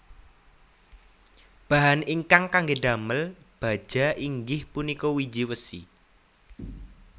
Bahan ingkang kangge damel baja inggih punika wiji wesi